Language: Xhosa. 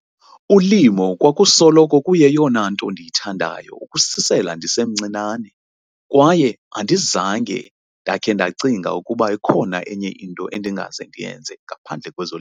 "Ulimo kwakusoloko kuyeyona nto ndiyithandayo ukususela ndisemncinane, kwaye andizange ndake ndacinga ukuba ikhona enye into endingaze ndiyenze ngaphandle kwezo."